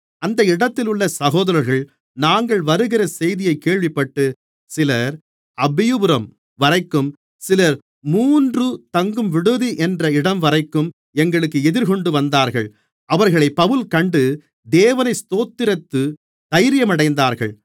அந்த இடத்திலுள்ள சகோதரர்கள் நாங்கள் வருகிற செய்தியைக் கேள்விப்பட்டு சிலர் அப்பியுபரம்வரைக்கும் சிலர் மூன்று தங்கும் விடுதி என்ற இடம்வரைக்கும் எங்களுக்கு எதிர்கொண்டுவந்தார்கள் அவர்களைப் பவுல் கண்டு தேவனை ஸ்தோத்திரித்துத் தைரியமடைந்தார்கள்